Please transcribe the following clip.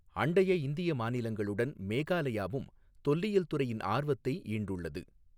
அண்டைய இந்திய மாநிலங்களுடன் மேகாலயாவும் தொல்லியல் துறையின் ஆர்வத்தை ஈண்டுள்ளது.